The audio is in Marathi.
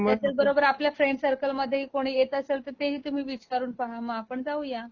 नाही पण बरोबर आपल्या फ्रेंड सर्कल मध्ये कुणी येत असेल तर ते ही तुम्ही विचारून पहा मग आपण जाऊया